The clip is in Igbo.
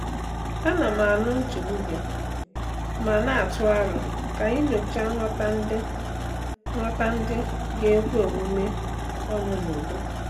Ana m anụ nchegbu gị ma na-atụ aro ka anyị nyochaa ngwọta ndị ngwọta ndị ga-ekwe omume ọnụ n'udo.